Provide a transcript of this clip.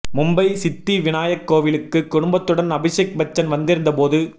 மும்பை சித்தி விநாயக் கோவிலுக்கு குடும்பத்துடன் அபிஷேக் பச்சன் வந்திருந்த போது